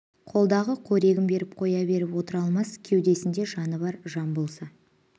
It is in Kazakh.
қолдағы қорегін беріп қоя беріп отыра алмас кеудесінде жаны бар жан болса